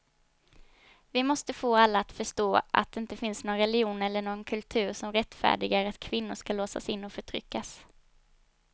Vi måste få alla att förstå att det inte finns någon religion eller någon kultur som rättfärdigar att kvinnor ska låsas in och förtryckas.